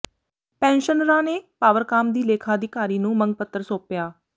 ਪੈਨਸ਼ਨਰਾਂ ਨੇ ਪਾਵਰਕਾਮ ਦੀ ਲੇਖਾ ਅਧਿਕਾਰੀ ਨੂੰ ਮੰਗ ਪੱਤਰ ਸੌਾਪਿਆ